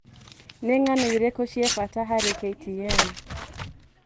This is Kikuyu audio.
Nĩ ng'ano irĩkũ cia bata harĩ k. t. n.